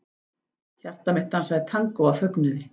Hjarta mitt dansaði tangó af fögnuði.